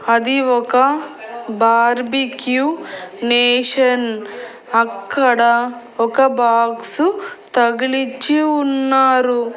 అది ఒక Barbeque Nation అక్కడ ఒక బాక్స్ తగిలిచ్చి ఉన్నారు.